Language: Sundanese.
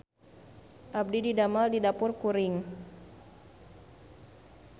Abdi didamel di Dapur Kuring